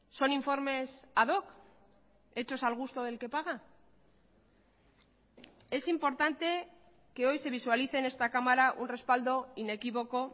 son informes a doc hechos al gusto del que paga es importante que hoy se visualice en esta cámara un respaldo inequívoco